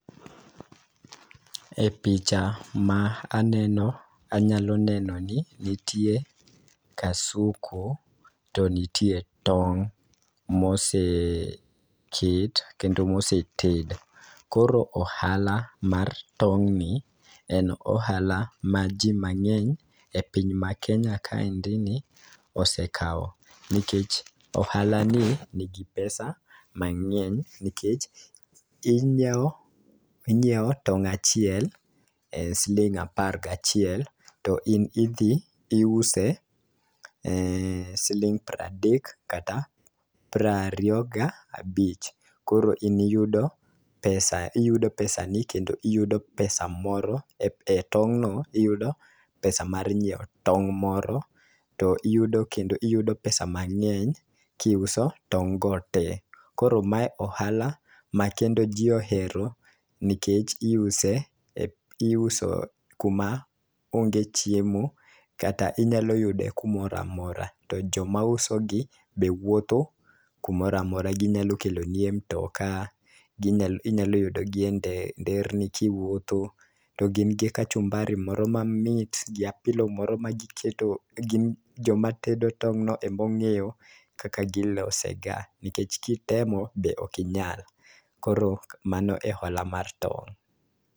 E picha ma aneno anyalo neno ni nitie kasuku to nitie tong' moseket kendo moseted. Koro ohala mar tong' ni en ohala ma jii mang'eny e piny ma kenya kaendi ni osekawo nikech ohala ni nigi pesa mang'eny nikech ,inyiew inyiew tong' achiel e sling apar gachiel to in idhi iuse e siling pradek kata pra riyo gabich. Koro iniyudo pesa iyudo pesa nino kendo iyudo pesa moro e tong' no iyudo pesa mar nyiewo tong' moro to iyudo kendo iyudo pesa mang'eny kiuso tong' go tee. Koro mae ohala ma kendo ji ohero nikech iuse e iuso kuma onge chiemo kata inyalo yude kumoramora. To joma uso gi be wuotho kumoramora ,ginyalo kelo nie mtoka inyalo yudo gi e nde e nderni ka iwuotho to gin gi kachumbari moro mamit gi apilo moro magiketo gin joma tedo tong' no emong'eyo kak gilose ga nikech kitemo be ok inyal. Koro mano e ohala mar tong'